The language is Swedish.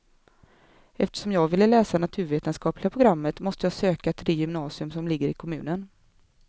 Eftersom jag ville läsa naturvetenskapliga programmet måste jag söka till det gymnasium som ligger i kommunen.